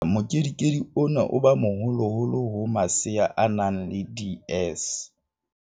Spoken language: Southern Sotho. Ha ngata mokedikedi ona o ba moholoholo ho masea a nang le DS.